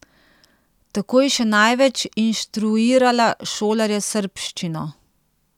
Tako je še največ inštruirala šolarje srbščino.